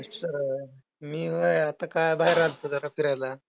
अच्छा! मी व्हयं आता काय बाहेर आलतो जरा फिरायला.